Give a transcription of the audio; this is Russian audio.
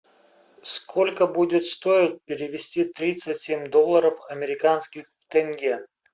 сколько будет стоить перевести тридцать семь долларов американских в тенге